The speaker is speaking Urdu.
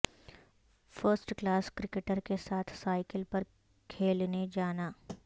فرسٹ کلاس کرکٹر کے ساتھ سائیکل پر کھیلنے جانا